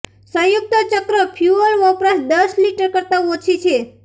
સંયુક્ત ચક્ર ફ્યુઅલ વપરાશ દસ લિટર કરતાં ઓછી છે